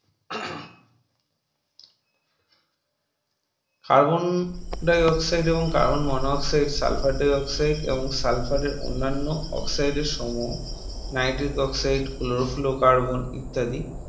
Carbon Dioxide এবং Carbon Monoxide, Sulphur Dioxide এবং Sulphur এর অন্যান্য oxide এর সমূহ Nitric Oxide, Chlorofluoro Carbon ইত্যাদি